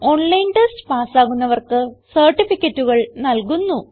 online test പാസ്സാകുന്നവർക്ക് സർട്ടിഫികറ്റുകൾ നല്കുന്നു